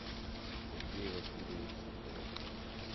сергей васильевич соколовский